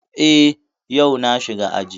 Eh, yau na shiga aji